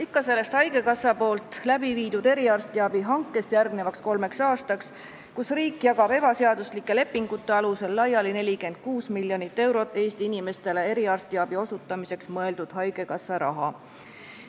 Ikka sellest haigekassa eriarstiabi hankest järgnevaks kolmeks aastaks, kus riik jagab ebaseaduslike lepingute alusel laiali 46 miljonit eurot Eesti inimestele eriarstiabi osutamiseks mõeldud haigekassa raha.